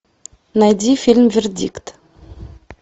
найди фильм вердикт